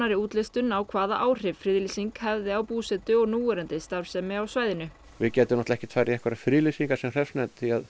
útlistun á hvaða áhrif friðlýsingin hefði á búsetu og núverandi starfsemi á svæðinu við getum ekki farið í friðlýsingar sem hreppsnefnd